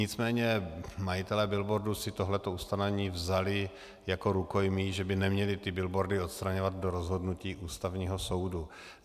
Nicméně majitelé billboardů si tohle ustanovení vzali jako rukojmí, že by neměli ty billboardy odstraňovat do rozhodnutí Ústavního soudu.